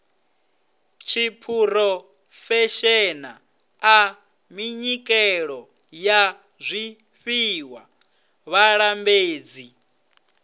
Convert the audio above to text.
tshiphurofeshenaḽa minyikelo ya zwifhiwa vhalambedzi